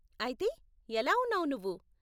అయితే, ఎలా ఉన్నావు నువ్వు?